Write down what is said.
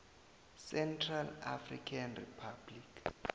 central african republic